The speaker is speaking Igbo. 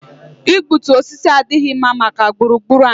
Igbutu osisi adịghị mma maka gburu gburu anyị